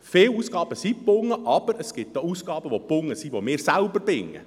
Viele Ausgaben sind gebunden, aber es gibt auch viele gebundene Ausgaben, die wir selber binden.